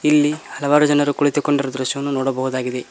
ಇಲ್ಲಿ ಹಲವಾರು ಜನರು ಕುಳಿತುಕೊಂಡಿರುವ ದೃಶ್ಯವನ್ನು ನೋಡಬಹುದಾಗಿದೆ.